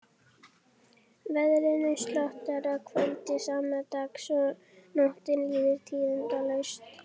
Veðrinu slotar að kvöldi sama dags og nóttin líður tíðindalaust.